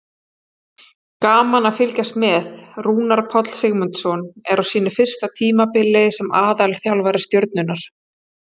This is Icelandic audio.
Gaman að fylgjast með: Rúnar Páll Sigmundsson er á sínu fyrsta tímabili sem aðalþjálfari Stjörnunnar.